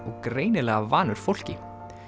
og greinilega vanur fólki